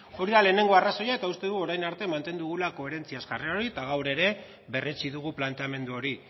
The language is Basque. hori da lehenengo arrazoia eta uste dut orain arte mantendu dugula koherentziaz jarrera hori eta gaur ere berretsi dugu planteamendu hori